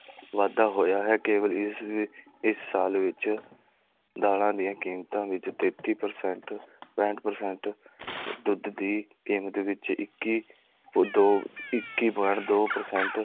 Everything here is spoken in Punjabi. ਵਾਧਾ ਹੋਇਆ ਹੈ, ਕੇਵਲ ਇਸ ਵੀ ਇਸ ਸਾਲ ਵਿੱਚ ਦਾਲਾਂ ਦੀਆਂ ਕੀਮਤਾਂ ਵਿੱਚ ਤੇਤੀ percent ਪੈਂਹਠ percent ਦੀ ਕੀਮਤ ਵਿੱਚ, ਇੱਕੀ ਇੱਕੀ point ਦੋ percent